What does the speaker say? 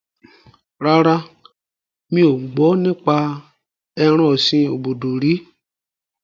Rárá, mi ò gbọ́ nípa ẹran ọ̀sin obudu rí